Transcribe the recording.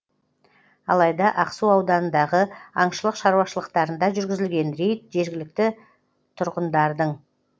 алайда ақсу ауданындағы аңшылық шаруашылықтарында жүргізілген рейд жергілікті тұрғындардың